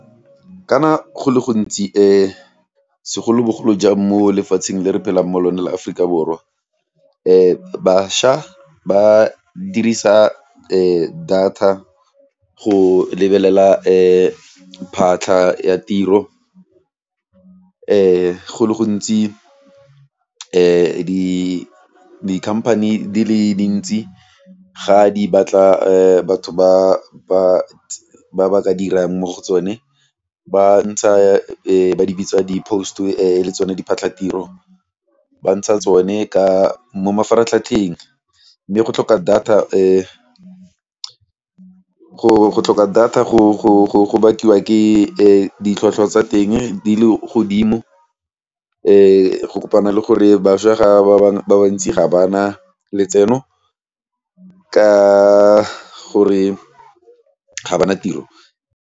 Kana go le gontsi segolobogolo jang mo lefatsheng le re phelang mo lone la Aforika Borwa bašwa ba dirisa data go lebelela phatlha ya tiro go le gontsi di-company di le dintsi ga di batla batho ba ba ka dirang mo go tsone ba ntsha ba di bitsa di post le tsone diphatlhatiro ba ntsha tsone ka mo mafaratlhatlheng mme go tlhoka data go tlhoka data go bakiwa ke ditlhwatlhwa tsa teng di le godimo go kopana le gore bašwa ba bantsi ga ba na letseno ka gore ga ba na tiro.